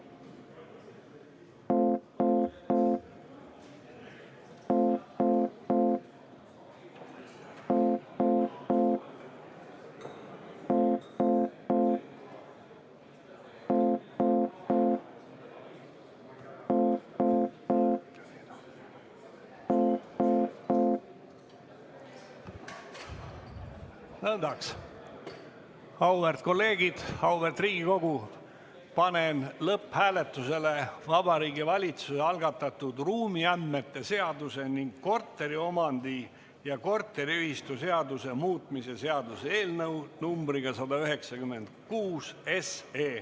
Auväärt kolleegid, auväärt Riigikogu, panen lõpphääletusele Vabariigi Valitsuse algatatud ruumiandmete seaduse ning korteriomandi- ja korteriühistuseaduse muutmise seaduse eelnõu nr 196.